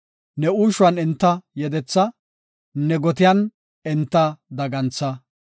ne uushuwan enta yedetha; ne gotiyan enta dagantha.